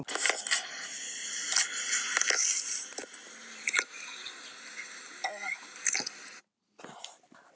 Það er oft glatt á hjalla og skrafað fram eftir öllu.